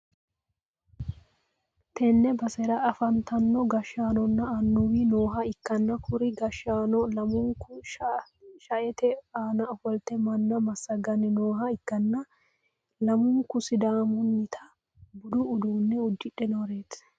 tenne basera afantino gashsanonna annuwi nooha ikkanna, kuri gashshaano lamunku sha'ete aana ofolte manna massagganni nooha ikkanna, lamunku sidaamunnita budu uddano uddidhe nooreeti.